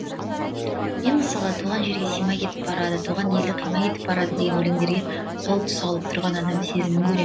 мен мысалы туған жерге симай кетіп барады туған елді қимай кетіп барады деген өлеңдерде сол тұсалып тұрған адам сезімін көрем